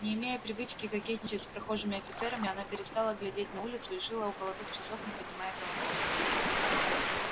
не имея привычки кокетничать с прохожими офицерами она перестала глядеть на улицу и шила около двух часов не поднимая головы